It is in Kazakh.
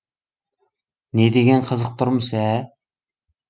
не деген қызық тұрмыс ә